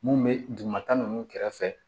Mun bɛ dugumata ninnu kɛrɛfɛ